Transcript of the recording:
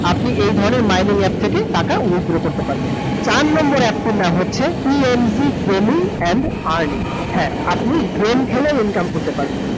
আপনি এই ধরণের mining app থেকে টাকা withdraw করতে পারবেন । চার number app টির নাম হচ্ছে, Gaming and earning । হ্যাঁ আপনি game খেলে income করতে পারবেন ।